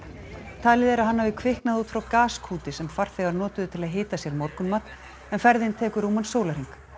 talið er að hann hafi kviknað út frá gaskúti sem farþegar notuðu til að hita sér morgunmat en ferðin tekur rúman sólarhring